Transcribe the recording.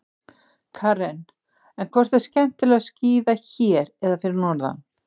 Karen: En hvort er skemmtilegra að skíða hér eða fyrir norðan?